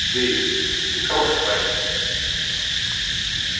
дейв ты хороший парень